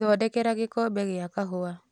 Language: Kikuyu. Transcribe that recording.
thodekera gĩkombe gĩa kahũwa